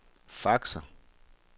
faxer